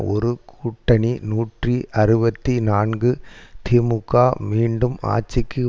ஒரு கூட்டணி நூற்றி அறுபத்தி நான்கு திமுக மீண்டும் ஆட்சிக்கு